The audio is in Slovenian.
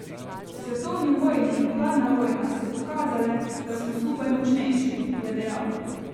Svetovni vojni in hladna vojna so pokazale, da smo skupaj močnejši, je dejal.